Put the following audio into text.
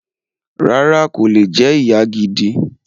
Rárá, kò lè jẹ ìyá gidi